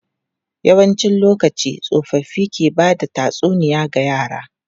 Yawancin lokaci, tsofaffi ke ba da tatsuniya ga yara.